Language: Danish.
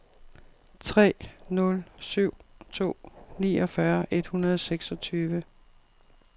tre nul syv to niogfyrre et hundrede og seksogtyve